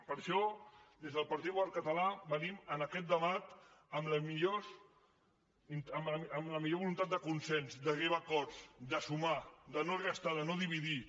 per això des del partit popular català venim en aquest debat amb la millor voluntat de consens d’arribar a acords de sumar de no restar de no dividir